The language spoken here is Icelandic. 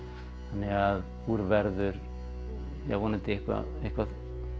þannig að úr verður jah vonandi eitthvað eitthvað